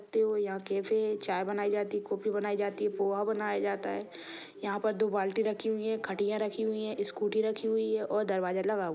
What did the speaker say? यहाँ कॅफे चाय बनाई जाती कॉफी बनाई जाती पोहा बनाया जाता है यहाँ पर दो बाल्टी रखी हुई है खटिया रखी हुई है स्कूटी रखी हुई है और दरवाजा लगा हुआ--